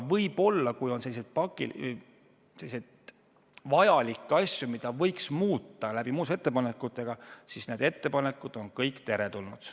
Kui on selliseid vajalikke asju, mida võiks muuta muudatusettepanekute abil, siis need ettepanekud on kõik teretulnud.